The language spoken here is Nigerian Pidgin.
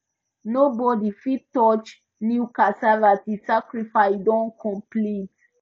nobody fit touch new cassava tilll sacrifice don complete